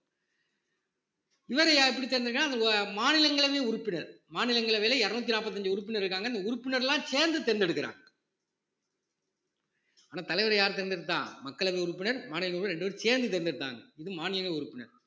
இவரையார் எப்படி தேர்ந்தெடுக்கிறாங்க மாநிலங்களவை உறுப்பினர் மாநிலங்களவையில இருநூத்தி நாப்பத்தஞ்சு உறுப்பினர் இருக்காங்க இந்த உறுப்பினர்கள் எல்லாம் சேர்ந்து தேர்ந்தெடுக்கிறாங்க ஆனா தலைவரை யார் தேர்ந்தெடுத்தா மக்களவை உறுப்பினர் மாநிலங்களவை உறுப்பினர் ரெண்டு பேரும் சேர்ந்து தேர்ந்தெடுத்தாங்க இது மாநில உறுப்பினர்